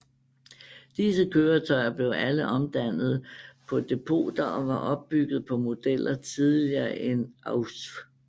Disse køretøjer blev alle omdannet på depoter og var opbygget på modeller tidligere end Ausf